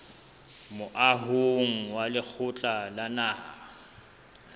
moahong wa lekgotla la naha